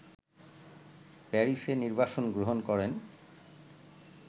প্যারিসে নির্বাসন গ্রহণ করেন